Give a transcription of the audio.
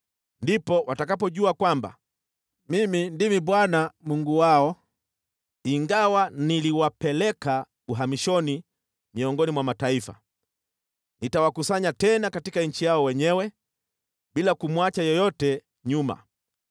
Ndipo watakapojua kwamba Mimi ndimi Bwana , Mungu wao, ingawa niliwapeleka uhamishoni miongoni mwa mataifa, nitawakusanya tena katika nchi yao wenyewe, bila kumwacha yeyote nyuma.